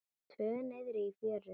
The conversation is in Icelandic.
Tvö niðri í fjöru.